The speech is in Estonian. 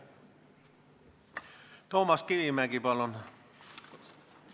Toomas Kivimägi, palun!